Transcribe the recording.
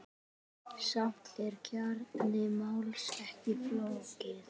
Samt er kjarni máls ekki flókinn.